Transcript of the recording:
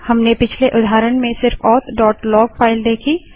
हमने पिछले उदाहरण में सिर्फ authलॉग फाइल देखी